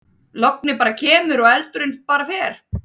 Lognið bara kemur og eldurinn bara fer.